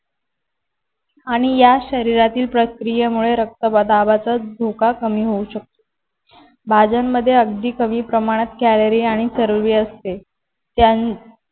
आणि या शरीरातील प्रक्रियेमुळे रक्तदाबाचा धोका कमी होऊ शकतो. भाज्यांमध्ये अगदी कमी प्रमाणात कॅलरी आणि चरबी असते. त्यां